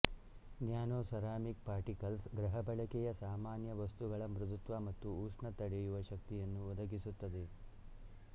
nanoceramic particles ಗೃಹಬಳಕೆಯ ಸಾಮಾನ್ಯ ವಸ್ತುಗಳ ಮೃದುತ್ವ ಮತ್ತು ಉಷ್ಣ ತಡೆಯುವ ಶಕ್ತಿಯನ್ನು ಒದಗಿಸುತ್ತದೆ